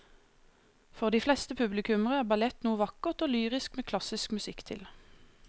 For de fleste publikummere er ballett noe vakkert og lyrisk med klassisk musikk til.